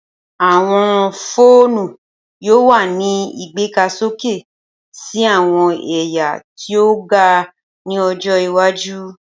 Awọn foonu yoo wa ni igbegasoke si awọn ẹya ti o ga ni ojo iwaju.